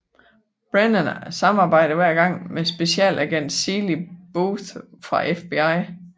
Brennan samarbejder hver gang med Specialagent Seeley Booth fra FBI